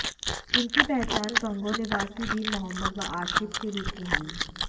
जिनकी पहचान गंगोह निवासी दीन मोहम्मद व आशीफ के रूप में हुई